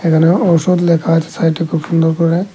এখানে ঔষধ লেখা আছে সাইডে খুব সুন্দর করে।